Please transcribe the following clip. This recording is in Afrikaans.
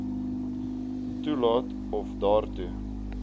toelaat of daartoe